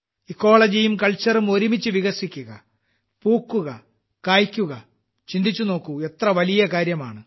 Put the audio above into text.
ecology ഉം culture ഉം ഒരുമിച്ച് വികസിക്കുക പൂക്കുക കായ്ക്കുക ചിന്തിച്ചുനോക്കൂ എത്ര വലിയ കാര്യമാണ്